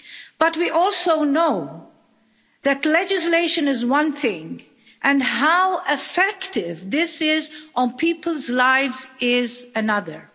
But we also know that legislation is one thing and how effective this is on people's lives is another.